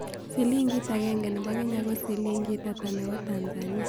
Silingit agenge ne po kenya ko silingit ata ne po tanzania